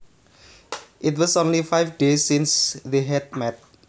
It was only five days since they had met